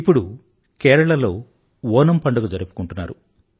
ఇప్పుడు కేరళలో ఓనమ్ పండుగ జరుపుకుంటున్నారు